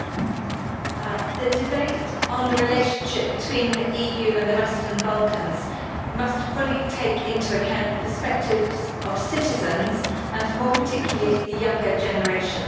Mr President, the debate on the relationship between the EU and the Western Balkans must fully take into account the perspectives of citizens, and more particularly the younger generation.